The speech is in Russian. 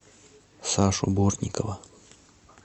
сашу бортникова